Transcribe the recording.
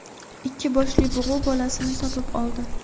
ikki boshli bug‘u bolasini topib oldi.